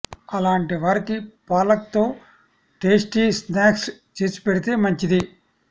అలాంటి వారికి పాలక్ తో టేస్టీ స్నాక్స్ చేసి పెడితే మంచిది